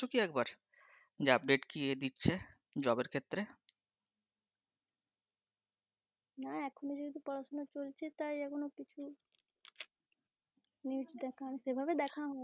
না এখনও যেহেতু পড়াশোনা চলছে তাই এখন ও news সেভাবে দেখা হয়নি।